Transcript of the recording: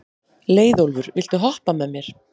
Leiðólfur, viltu hoppa með mér?